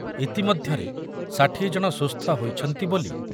ଇତିମଧ୍ୟରେ ଷାଠିଏ ଜଣ ସୁସ୍ଥ ହୋଇଛନ୍ତି ବୋଲି